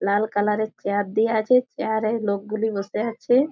লাল colour -এর chair দেওয়া আছে চেয়ার -এ লোক গুলি বসে আছে-এ।